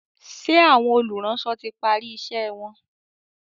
ṣe Àwọn olùránsọ tí pari iṣé wón?